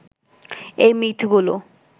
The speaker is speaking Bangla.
এই মিথগুলো